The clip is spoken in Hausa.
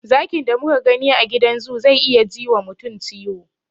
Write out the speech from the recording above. Zakin da muka gani a gidan zoo zai iya ji wa mutum ciwo.